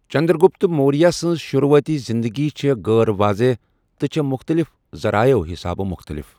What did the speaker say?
چنٛدرٛگُپت مورِیہ سٕنٛز شُروٗعٲتی زِنٛدگی چھےٚ غٲر واضح تہٕ چھےٚ مُختٔلِف ذَرایعو حِسابہٕ مُختٔلِف۔